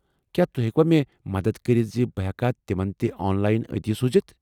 کیٛاہ تُہۍ ہیٚکوا مےٚ مدتھ کٔرِتھ زِ بہٕ ہیٚكا تِمن تہِ آن لاین عطیہ سوٗزِتھ؟